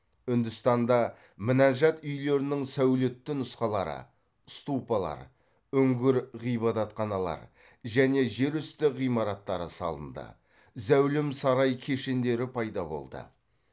үндістанда мінажат үйлерінің сәулетті нұсқалары ступалар үңгір ғибадатханалар және жер үсті ғимараттары салынды зәулім сарай кешендері пайда болды